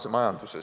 Ma tänan!